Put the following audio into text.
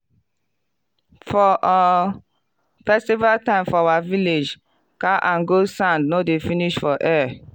for um festival time for our village cow and goat sound no dey finish for air.